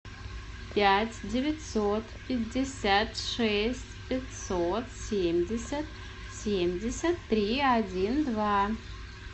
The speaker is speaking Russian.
пять девятьсот пятьдесят шесть пятьсот семьдесят семьдесят три один два